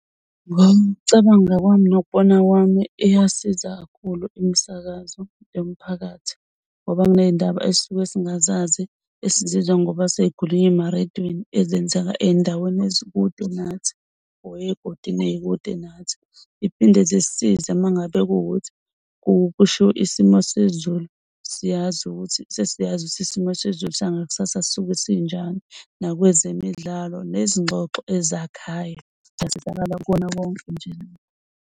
Ngokucabanga kwami nokubona kwami iyasiza kakhulu imisakazo yomphakathi ngoba kuney'ndaba ezisuke singazazi esizwa ngoba sesikhulunywa emarediyweni ezenzeka ey'ndaweni ezikude nathi or ey'godini ey'kude nathi. Iphinde zisisize mengabe kuwukuthi kushiwo isimo sezulu siyazi ukuthi sesiyazi ukuthi isimo sezulu sangakusasa sisuke sinjani. Nakwezemidlalo nezingxoxo ezakhayo siyasizakala kukona konke nje loko.